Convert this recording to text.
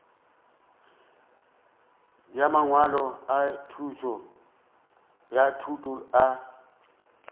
ya mangwalo a thuto a